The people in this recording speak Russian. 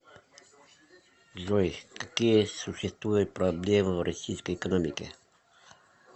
джой какие существуют проблемы в российской экономике